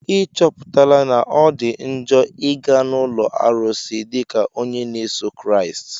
Ị chọpụtala na ọ dị njọ ịga n'ụlọ arụsị dịka onye na-eso Kraịst?